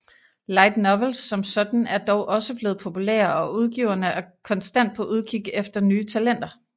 Light novels som sådan er dog også blevet populære og udgiverne er konstant på udkig efter nye talenter